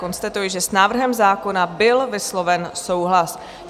Konstatuji, že s návrhem zákona byl vysloven souhlas.